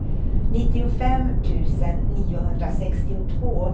nittiofem tusen niohundrasextiotvå